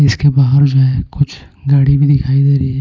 इसके बाहर जो है कुछ गाड़ी भी दिखाई दे रही है।